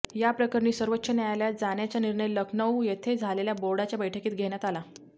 याप्रकरणी सर्वोच्च न्यायालयात जाण्याचा निर्णय लखनऊ येथे झालेल्या बोर्डच्या बैठकीत घेण्यात आला